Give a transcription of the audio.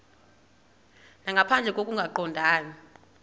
nangaphandle koko kungaqondani